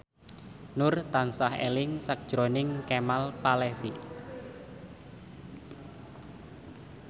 Nur tansah eling sakjroning Kemal Palevi